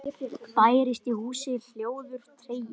Bærist í húsi hljóður tregi.